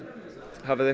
hafiði